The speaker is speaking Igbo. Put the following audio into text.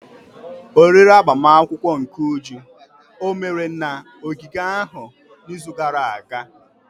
Oriri agbamakwụkwọ nke Uju omere na ogige ahụ n'izu gara aga?